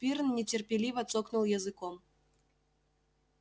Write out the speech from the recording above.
пиренн нетерпеливо цокнул языком